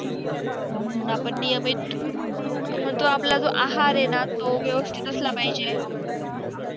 म्हणून आपण नियमित आणि आपला जो आहार आहे न तो व्यवस्थित असला पाहिजे